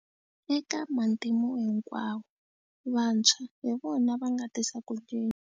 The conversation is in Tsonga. Eka matimu hinkwawo, vantshwa hi vona va nga tisa ku cinca.